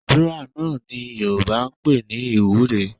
Àdúrà náà ni Yorùbá ń pè ní ìwúre